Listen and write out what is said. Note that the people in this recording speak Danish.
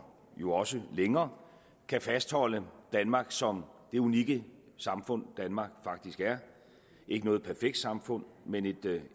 jo også længere kan fastholde danmark som det unikke samfund danmark faktisk er ikke noget perfekt samfund men et